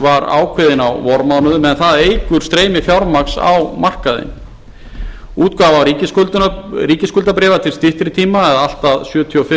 var ákveðin á vormánuðum en það eykur streymi fjármagns á markaðinn útgáfa ríkisskuldabréfa til styttri tíma eða allt að sjötíu og fimm